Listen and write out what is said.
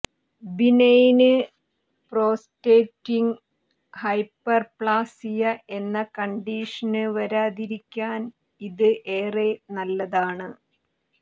benign prostatic hyperplasia എന്ന condition വരാതിരിയ്ക്കാന് ഇത് ഏറെ നല്ലതാണ്